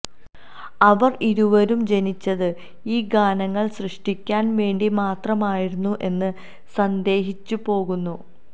അവർ ഇരുവരും ജനിച്ചത് ഈ ഗാനങ്ങൾ സൃഷ്ടിക്കാൻ വേണ്ടി മാത്രമായിരുന്നു എന്ന് സന്ദേഹിച്ചുപോകുന്നു